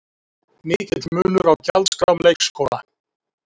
Mikill munur á gjaldskrám leikskóla